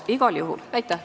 Aitäh!